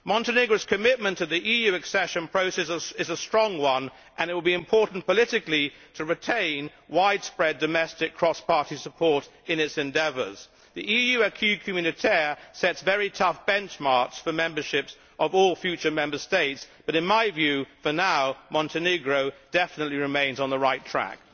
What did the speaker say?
Montenegro's commitment to the EU Accession process is a strong one and it will be important politically to retain widespread domestic cross-party support in its endeavours. The EU acquis communautaire sets very tough benchmarks for the membership of all future Member States but in my view, for now, Montenegro definitely remains on the right track.